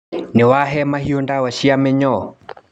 Nĩwahe mahiũ ndawa cia mĩnyoo.